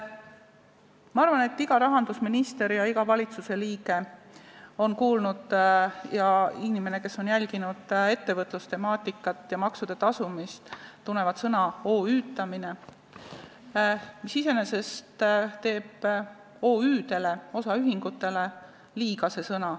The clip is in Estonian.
Ma arvan, et iga rahandusminister, iga valitsusliige, samuti iga inimene, kes on jälginud ettevõtlustemaatikat ja maksude tasumist, tunneb sõna "OÜ-tamine", mis iseenesest teeb OÜ-dele, osaühingutele liiga.